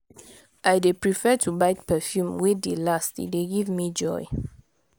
i dey prefer to buy perfume wey dey last e dey give me joy.